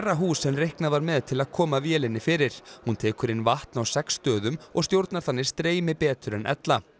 hús en reiknað var með til að koma vélinni fyrir hún tekur inn vatn á sex stöðum og stjórnar þannig streymi betur en ella